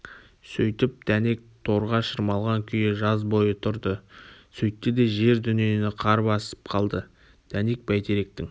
сөйтіп дәнек торға шырмалған күйі жаз бойы тұрды сөйтті де жер-дүниені қар басып қалды дәнек бәйтеректің